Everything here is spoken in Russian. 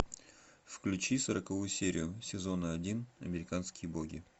включи сороковую серию сезона один американские боги